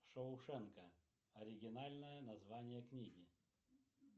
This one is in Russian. шоушенка оригинальное название книги